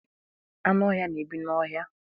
Anụ ọhia na-ebi n'ọhia.